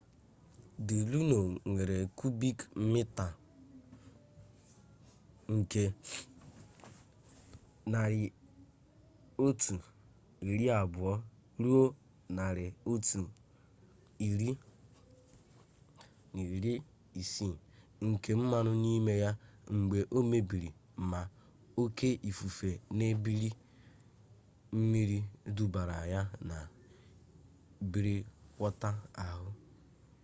the luno nwere kubik mita 120-160 nke mmanụ n'ime ya mgbe o mebiri ma oke ifufe na ebili mmiri dubara ya n'ime brekwọta ahụ